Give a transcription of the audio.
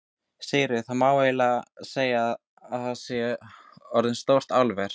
Sigríður: Það má eiginlega segja að þetta sé eins og stórt álver?